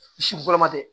Si fɔlɔ ma kɛ